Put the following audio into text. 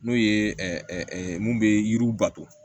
N'o ye mun be yiriw bato